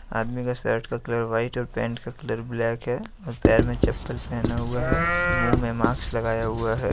आदमी का शर्ट का कलर व्हाइट और पेंट का कलर ब्लैक है और पैर में चप्पल पहना हुआ है मुंह में मास्क लगाया हुआ है।